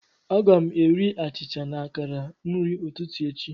Aga m eri achịcha na akara nri ụtụtụ echi.